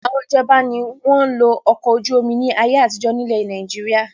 Ìjọba nìkan ni wọn ń lo Ọkọ̀-ojú-omi ni ayé àtijọ́ ni ilẹ̀ Nàìjíríà